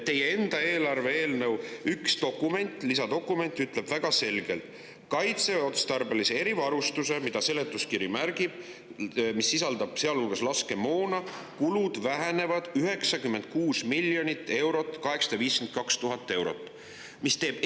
Teie enda eelarve-eelnõu üks lisadokument ütleb väga selgelt, et kaitseotstarbelise erivarustuse kulud – seletuskiri seda märgib –, kusjuures see erivarustus sisaldab laskemoona, vähenevad 96 852 000 eurot.